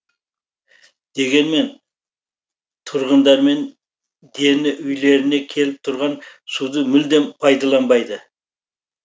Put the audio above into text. дегенмен тұрғындармен дені үйлеріне келіп тұрған суды мүлдем пайдаланбайды